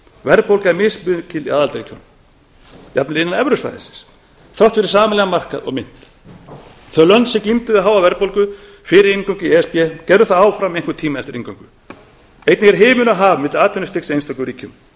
verðbólga er mismikil í aðildarríkjunum jafnvel innan evrusvæðisins þrátt fyrir sameiginlegan markað og mynt þau lönd sem glímdu við háa verðbólgu fyrir inngöngu í e s b gerðu það áfram í einhvern tíma eftir inngöngu einnig er himinn og haf milli atvinnustigs í einstökum ríkjum